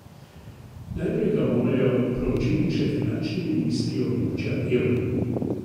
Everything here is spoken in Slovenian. Najprej ga morajo proučiti še finančni ministri območja evra.